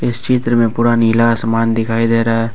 इस चित्र में पूरा नीला आसमान दिखाई दे रहा है।